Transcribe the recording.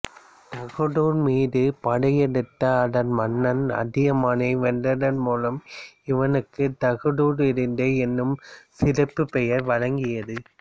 தகடூர் மீது படையெடுத்து அதன் மன்னன் அதியமானை வென்றதன் மூலம் இவனுக்குத் தகடூர் எறிந்த என்னும் சிறப்புப்பெயர் வழங்கியது